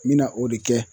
N bɛna o de kɛ